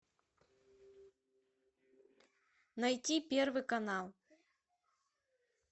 найти первый канал